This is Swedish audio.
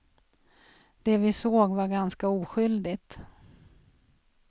Det vi såg var ganska oskyldigt.